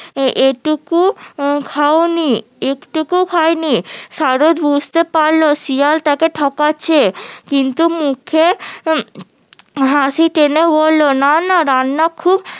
এটুকু খাওনি একটুকু খাইনি সারস বুজতে পারলো শিয়াল তাকে ঠকাচ্ছে কিন্তু উম মুখে হাসি টেনে বললো না না রান্না খুব